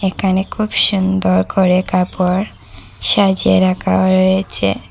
এখানে খুব সুন্দর করে কাপড় সাজিয়ে রাখাও রয়েছে।